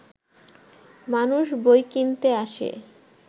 মানুষ বই কিনতে আসে